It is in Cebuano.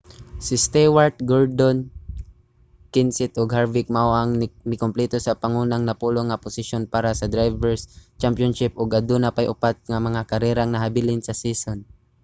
si stewart gordon kenseth ug harvick mao ang mikumpleto sa pangunang napulo nga posisyon para sa drivers' championship ug aduna pay upat ka mga karerang nahabilin sa season